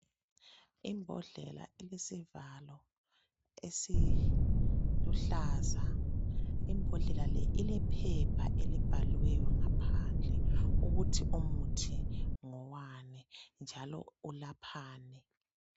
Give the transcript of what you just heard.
Imbodlela elesivalo esiluhlaza, imbodlela le ilephepha elibhaliweyo ngaphandle ukuthi umuthi lowu ngowani njalo ulaphani.